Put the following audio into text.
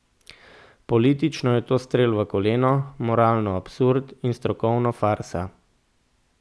Politično je to strel v koleno, moralno absurd in strokovno farsa.